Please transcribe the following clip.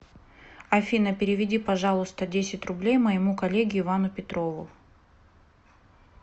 афина переведи пожалуйста десять рублей моему коллеге ивану петрову